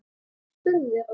spurðu þau Róbert.